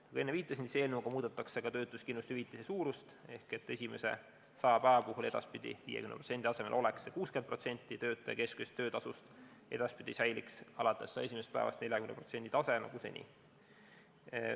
Nagu ma enne viitasin, eelnõuga muudetakse ka töötuskindlustushüvitise suurust ehk esimese 100 päeva puhul edaspidi 50% asemel oleks see 60% töötaja keskmisest töötasust, edaspidi säiliks alates esimesest päevast 40% tase nagu seni.